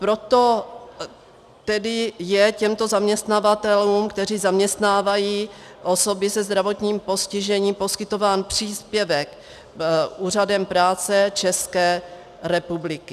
Proto tedy je těmto zaměstnavatelům, kteří zaměstnávají osoby se zdravotním postižením, poskytován příspěvek Úřadem práce České republiky.